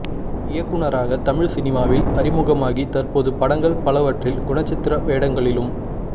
இயக்குனராக தமிழ் சினிமாவில் அறிமுகமாகி தற்போது படங்கள் பலவற்றில் குணச்சித்திர வேடங்களிலும்